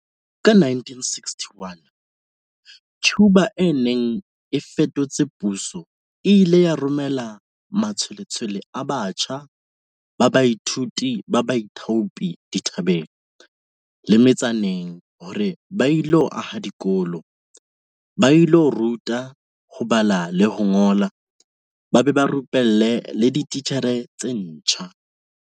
Ka 1961, Cuba e neng e fetotse puso e ile ya romela matshwe-letshwele a batjha ba baithuti ba baithaopi dithabeng le me-tsaneng hore ba ilo aha dikolo, ba ilo ruta ho bala le ho ngola ba be ba rupelle le dititjhere tse ntjha.